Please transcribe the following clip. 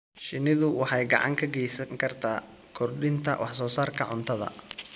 Shinnidu waxay gacan ka geysan kartaa kordhinta wax soo saarka cuntada.